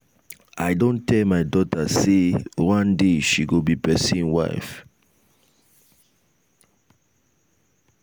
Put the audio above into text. i don tell my dota sey one day she go be pesin wife.